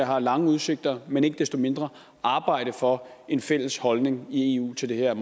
har lange udsigter men ikke desto mindre arbejde for en fælles holdning i eu til det her